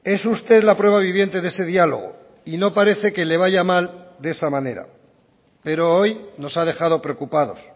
es usted la prueba viviente de ese diálogo y no parece que le vaya mal de esa manera pero hoy nos ha dejado preocupados